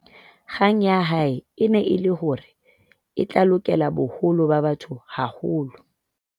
kgang ya hae e ne e le hore e tla lokela boholo ba batho haholo